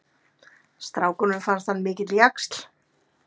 Strákunum fannst hann mikill jaxl.